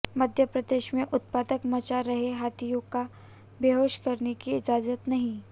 मध्य प्रदेश में उत्पात मचा रहे हाथियों को बेहोश करने की इजाजत नहीं